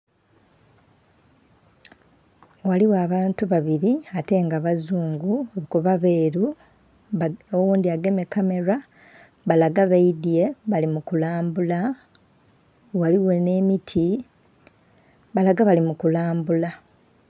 Ghaligho abantu babiri ate nga bazungu kuba beru nga oghundhi agemye kamera balaga baidhye bali mukalambula ghaligho n'emiti balaga bali mukalambula.